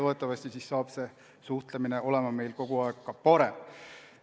Loodetavasti muutub see suhtlemine meil kogu aeg paremaks.